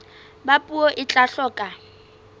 ba puo e tla hloka